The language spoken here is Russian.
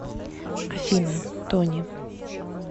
афина тони